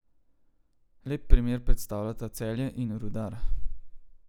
Lep primer predstavljata Celje in Rudar.